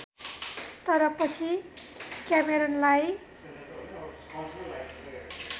तर पछि क्यामेरनलाई